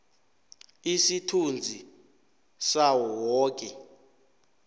isithunzi sawo woke